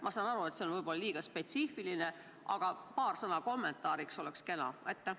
Ma saan aru, et see on võib-olla liiga spetsiifiline küsimus, aga paar sõna kommentaariks oleks kena.